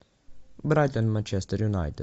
брайтон манчестер юнайтед